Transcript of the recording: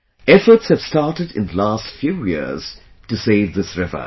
Efforts have started in the last few years to save this river